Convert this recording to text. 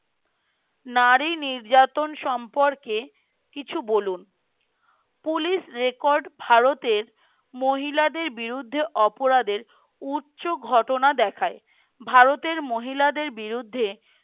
নারী নির্যাতন সম্পর্কে কিছু বলুন। পুলিশ রেকর্ড ভারতের মহিলাদের বিরুদ্ধে অপরাধের উচ্চ ঘটনা দেখায় ভারতের মহিলাদের বিরুদ্ধে